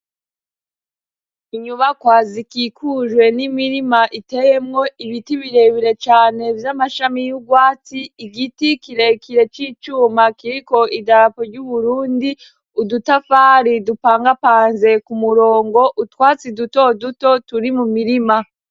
Inyubakwa zikikujwe n'imirima iteyemo ibiti birebire cane vy'amashami y'ugwatsi. Igiti kirekire c'icuma kiriko idapo ry'Uburundi. Udutafari dupangapanze ku murongo, utwatsi dutoduto turi mu mirima.